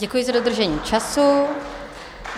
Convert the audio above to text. Děkuji za dodržení času.